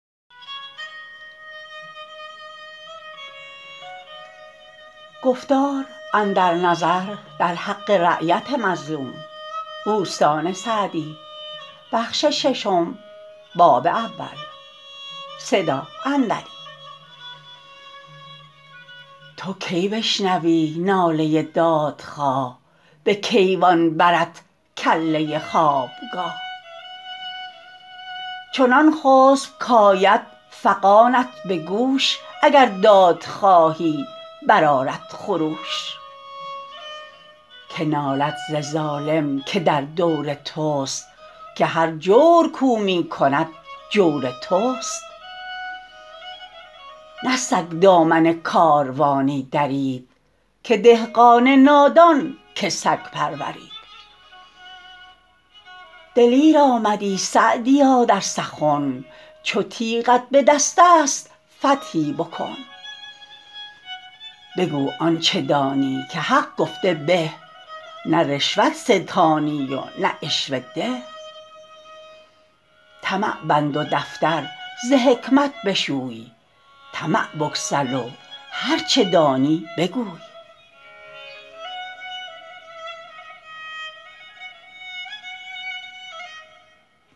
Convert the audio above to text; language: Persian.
تو کی بشنوی ناله دادخواه به کیوان برت کله خوابگاه چنان خسب کآید فغانت به گوش اگر دادخواهی برآرد خروش که نالد ز ظالم که در دور توست که هر جور کاو می کند جور توست نه سگ دامن کاروانی درید که دهقان نادان که سگ پرورید دلیر آمدی سعدیا در سخن چو تیغت به دست است فتحی بکن بگو آنچه دانی که حق گفته به نه رشوت ستانی و نه عشوه ده طمع بند و دفتر ز حکمت بشوی طمع بگسل و هرچه دانی بگوی